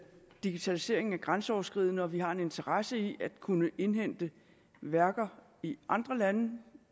digitalisering er grænseoverskridende og at vi har en interesse i at kunne indhente værker i andre lande